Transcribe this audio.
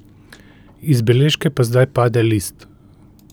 Iz beležke pa zdaj pade list.